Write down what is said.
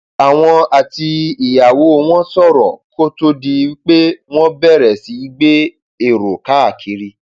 àwọn àti ìyàwó wọn sọrọ kó tóó di pé wọn bẹrẹ sí í gbé èrò káàkiri